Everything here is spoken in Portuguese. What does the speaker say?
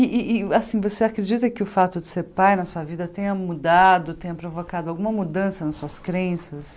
E e e assim você acredita que o fato de ser pai na sua vida tenha mudado, tenha provocado alguma mudança nas suas crenças?